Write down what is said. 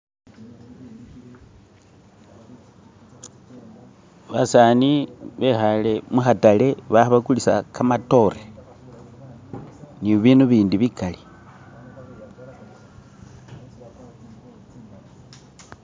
basani bekhale mukhatale balikhebakulisa kamatore ni bindu bindi bikali